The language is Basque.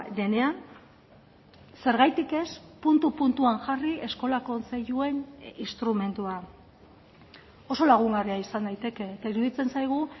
denean zergatik ez puntu puntuan jarri eskola kontseiluen instrumentua oso lagungarria izan daiteke eta iruditzen zaigu